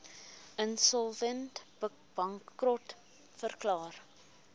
insolvent bankrot verklaar